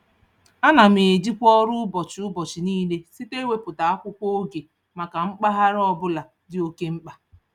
Ana m ejikwa ọrụ ụbọchị ụbọchị niile site ịwepụta akwụkwọ oge maka mpaghara ọbụla dị oke mkpa.